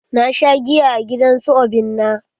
Na sha giya a gidan su obinna.